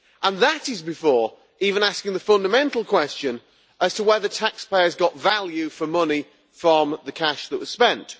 And that is also before even asking the fundamental question as to whether taxpayers got value for money from the cash that was spent.